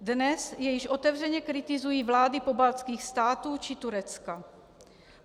Dnes je již otevřeně kritizují vlády pobaltských států či Turecka.